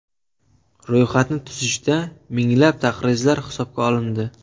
Ro‘yxatni tuzishda minglab taqrizlar hisobga olindi.